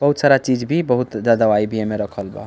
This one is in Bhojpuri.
बहुत सारा चीज़ भी बहुत जा दवाई भी एमे रखल बा।